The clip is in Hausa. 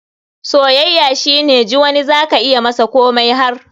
soyayya shine ji wani za ka iya masa komai har.